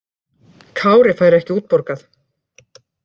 Kári fær ekki útborgað